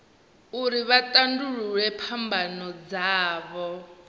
uri vha tandulule phambano dzavho